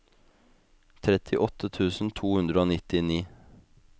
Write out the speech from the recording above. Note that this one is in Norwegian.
trettiåtte tusen to hundre og nittini